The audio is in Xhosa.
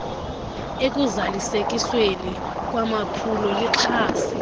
ekuzalisekisweni kwamaphulo lixhase